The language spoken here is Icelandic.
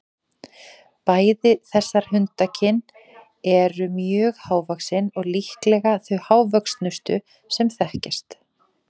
Bæði þessar hundakyn eru mjög hávaxin og líklega þau hávöxnustu sem þekkjast.